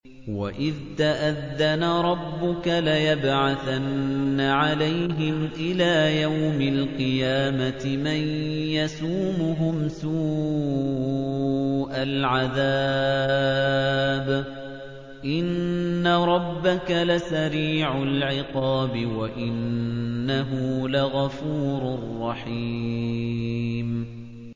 وَإِذْ تَأَذَّنَ رَبُّكَ لَيَبْعَثَنَّ عَلَيْهِمْ إِلَىٰ يَوْمِ الْقِيَامَةِ مَن يَسُومُهُمْ سُوءَ الْعَذَابِ ۗ إِنَّ رَبَّكَ لَسَرِيعُ الْعِقَابِ ۖ وَإِنَّهُ لَغَفُورٌ رَّحِيمٌ